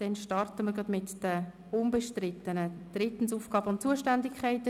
Wir starten mit den unbestrittenen Artikeln.